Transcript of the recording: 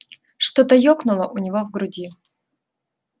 что-то ёкнуло у него в груди